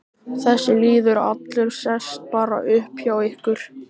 Þessi lýður allur sest bara upp hjá ykkur.